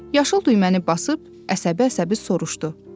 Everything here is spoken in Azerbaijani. Yaşıl düyməni basıb əsəbi-əsəbi soruşdu.